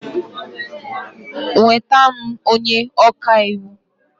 Nweta m onye ọka iwu!